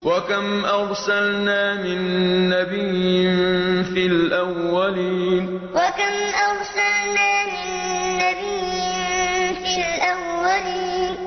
وَكَمْ أَرْسَلْنَا مِن نَّبِيٍّ فِي الْأَوَّلِينَ وَكَمْ أَرْسَلْنَا مِن نَّبِيٍّ فِي الْأَوَّلِينَ